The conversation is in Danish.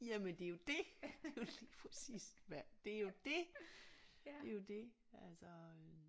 Jamen det er jo det er jo lige præcis hvad det er jo det det er jo det altså